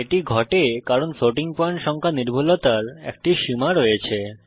এটি ঘটে কারণ ফ্লোটিং পয়েন্ট সংখ্যা নির্ভুলতার একটা সীমা রয়েছে